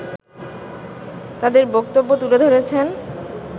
তাদের বক্তব্য তুলে ধরেছেন